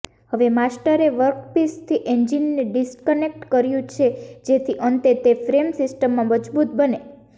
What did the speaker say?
હવે માસ્ટરએ વર્કપિસથી એન્જિનને ડિસ્કનેક્ટ કર્યું છે જેથી અંતે તે ફ્રેમ સિસ્ટમમાં મજબૂત બને